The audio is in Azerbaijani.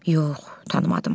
Yox, tanımadım.